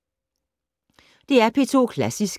DR P2 Klassisk